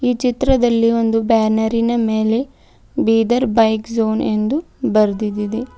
ಚಿತ್ರದಲ್ಲಿ ಒಂದು ಬ್ಯಾನರಿ ನ ಮೇಲೆ ಬೀದರ್ ಬೈಕ್ ಝೋನ್ ಎಂದು ಬರ್ದಿದೆ.